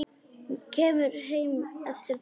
Kemur heim eftir páska.